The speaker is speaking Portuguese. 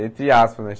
Entre aspas, né?